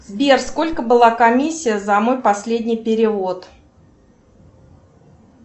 сбер сколько была комиссия за мой последний перевод